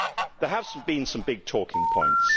There have been some big talking points.